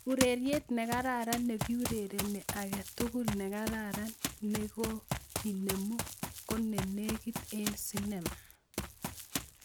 Ureriet negararan negiurereni age tugul negararan negokinemu konegit en sinema